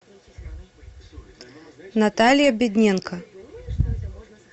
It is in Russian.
наталья бедненко